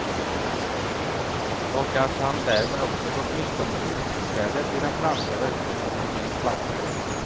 Och att han därmed också gått miste om trontillträdet i den franska verkstadsindustrins flaggskepp.